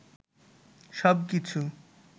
সব কিছু